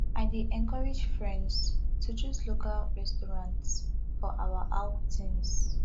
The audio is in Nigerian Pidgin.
i dey encourage friends to choose local restaurants for our outings